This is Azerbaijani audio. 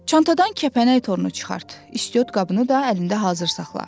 Çantadan kəpənək torunu çıxart, istiot qabını da əlində hazır saxla.